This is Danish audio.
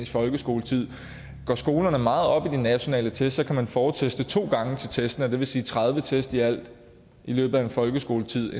folkeskoletid går skolerne meget op i de nationale test kan de forteste to gange til testene og det vil sige tredive test i alt i løbet af en folkeskoletid